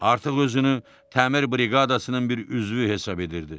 Artıq özünü təmir briqadasının bir üzvü hesab edirdi.